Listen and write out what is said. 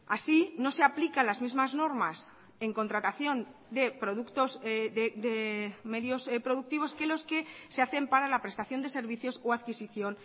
así no se aplica las mismas normas en contratación de productos de medios productivos que los que se hacen para la prestación de servicios o adquisición